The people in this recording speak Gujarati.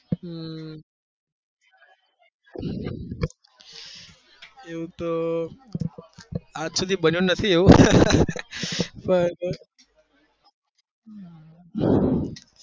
હમ એવું તો આજ સુધી બન્યું નહી પણ